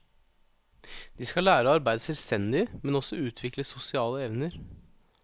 De skal lære å arbeide selvstendig, men også utvikle sosiale evner.